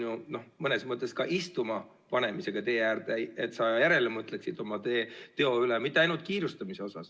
Tegu on ju mõnes mõttes istuma panemisega tee äärde, et sa järele mõtleksid oma teo üle, ja seda mitte ainult kiirustamise puhul.